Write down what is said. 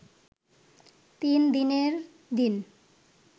তিন দিনের দিন